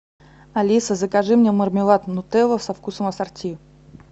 алиса закажи мне мармелад нутелла со вкусом ассорти